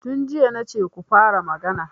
Tun jiya na ce ku fara magana.